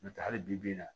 N'o tɛ hali bi bi in na